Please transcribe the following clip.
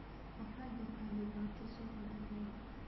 Waxaa jirta dhibaato suuqa digaaga.